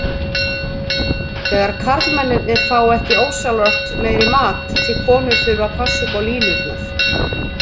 Þegar karlmennirnir fá ekki ósjálfrátt meiri mat því konur þurfi að passa upp á línurnar.